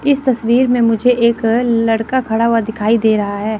इस तस्वीर में मुझे एक लड़का खड़ा हुवा दिखाई दे रहा हैं।